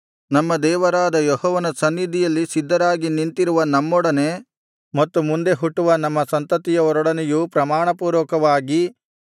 ನಮ್ಮ ದೇವರಾದ ಯೆಹೋವನ ಸನ್ನಿಧಿಯಲ್ಲಿ ಸಿದ್ಧರಾಗಿ ನಿಂತಿರುವ ನಮ್ಮೊಡನೆ ಮತ್ತು ಮುಂದೆ ಹುಟ್ಟುವ ನಮ್ಮ ಸಂತತಿಯವರೊಡನೆಯೂ ಪ್ರಮಾಣಪೂರ್ವಕವಾದ ಈ ಒಡಂಬಡಿಕೆಯನ್ನು ಮಾಡಿಕೊಳ್ಳುವವನಾಗಿದ್ದಾನೆ